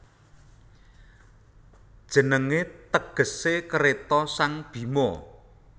Jenengé tegesé Kreta sang Bhima